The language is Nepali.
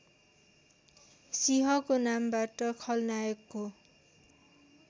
सिंहको नामबाट खलनायकको